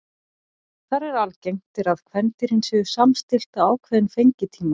Þar er algengt er að kvendýrin séu samstillt á ákveðinn fengitíma.